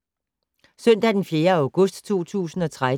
Søndag d. 4. august 2013